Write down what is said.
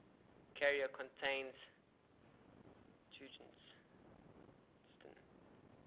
carrier contains tungsten